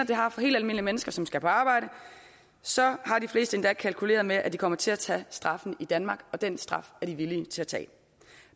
det har for helt almindelige mennesker som skal på arbejde så har de fleste endda kalkuleret med at de kommer til at tage straffen i danmark og den straf er de villige til at tage